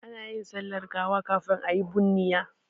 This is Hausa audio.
Ana yin sallar gawa kafin a yi bunniya.